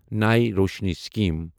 نَے روشنی سِکیٖم